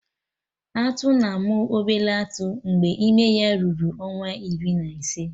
Atụ na-amụ obele atụ mgbe ime ya ruru ọnwa iri na ise